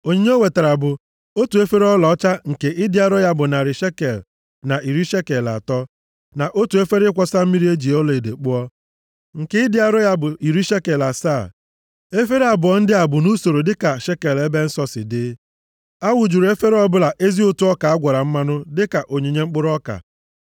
Onyinye o wetara bụ: otu efere ọlaọcha nke ịdị arọ ya bụ narị shekel na iri shekel atọ, na otu efere ịkwọsa mmiri e ji ọlaedo kpụọ, nke ịdị arọ ya bụ iri shekel asaa, efere abụọ ndị a bụ nʼusoro dịka shekel ebe nsọ si dị. A wụjuru efere ọbụla ezi ụtụ ọka a gwara mmanụ dịka onyinye mkpụrụ ọka.